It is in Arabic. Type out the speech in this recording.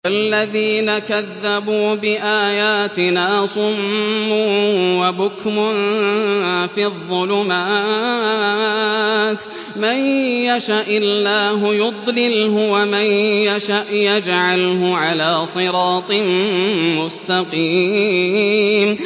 وَالَّذِينَ كَذَّبُوا بِآيَاتِنَا صُمٌّ وَبُكْمٌ فِي الظُّلُمَاتِ ۗ مَن يَشَإِ اللَّهُ يُضْلِلْهُ وَمَن يَشَأْ يَجْعَلْهُ عَلَىٰ صِرَاطٍ مُّسْتَقِيمٍ